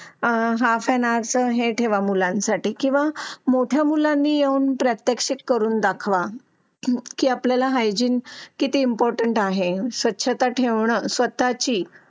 आह हां फॅन्स हे ठेवा मुलांसाठी किंवा. मोठ्या मुलांनी येऊन प्रत्यक्ष करून दाखवा की आपल्याला हायजिन किती इम्पॉर्टण्ट आहे. स्वच्छता ठेवणं स्वतःची.